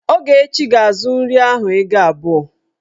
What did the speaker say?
Ogechi ga-azu nri ahụ ego abụọ.